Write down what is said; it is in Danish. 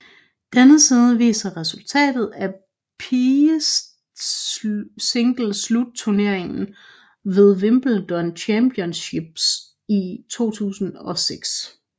Denne side viser resultatet af pigesingleturneringen ved Wimbledon Championships 2006